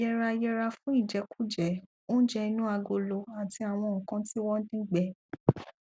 yẹra yẹra fún ìjẹkújẹ oúnjẹ inú agolo àti àwọn nǹkan tí wọn dín gbẹ